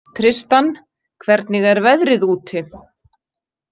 Tristan, hvernig er veðrið úti?